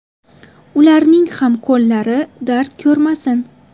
Ularning ham qo‘llari dard ko‘rmasin.